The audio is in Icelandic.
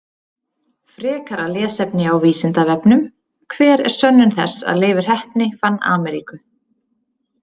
Frekara lesefni á Vísindavefnum: Hver er sönnun þess að Leifur heppni fann Ameríku?